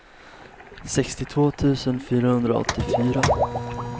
sextiotvå tusen fyrahundraåttiofyra